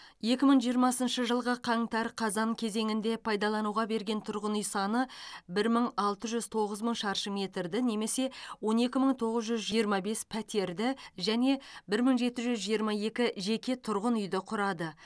екі мың жиырмасыншы жылғы қаңтар қазан кезеңінде пайдалануға берген тұрғын үй саны бір мың алты жүз тоғыз мың шаршы метрді немесе он екі мың тоғыз жүз жиырма бес пәтерді және бір мың жеті жүз жиырма екі жеке тұрғын үйді құрады